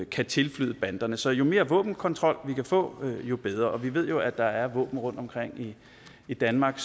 kan tilflyde banderne så jo mere våbenkontrol vi kan få jo bedre og vi ved jo at der er våben rundtomkring i danmark